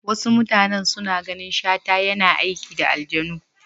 Wasu mutanan suna ganin Shata yana aiki da aljanu.